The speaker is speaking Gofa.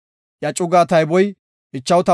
Iya cuga tayboy 59,300.